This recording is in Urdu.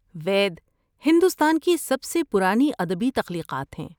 وید ہندوستان کی سب سے پرانی ادبی تخلیقات ہیں۔